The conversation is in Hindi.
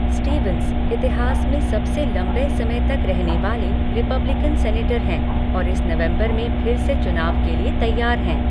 स्टीवंस, इतिहास में सबसे लंबे समय तक रहने वाले रिपब्लिकन सीनेटर हैं और इस नवंबर में फिर से चुनाव के लिए तैयार हैं।